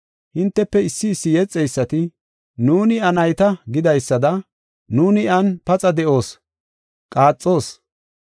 Hintefe issi issi yexeysati, ‘Nuuni iya nayta’ gidaysada, ‘Nuuni iyan paxa de7oos, qaaxoos.’